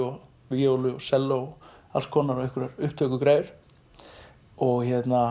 víólu selló og alls konar upptökugræjur